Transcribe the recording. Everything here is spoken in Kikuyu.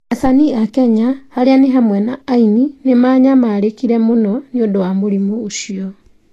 Acanii a Kenya, arĩa ni hamwe na aini, nĩ maanyamarĩkire mũno nĩ ũndũ wa mũrimũ ũcio.